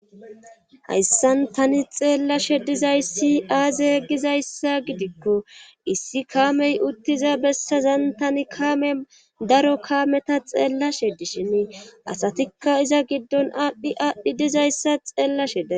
hayssan tani xeellashe dizayssi aaze gizayssa gidikko issi kaamey uttiza bessazan tani kaame daro kaameta xeellashe dishin asatikka iza giddon aadhdhi aadhdhi dizayssa xeellasheda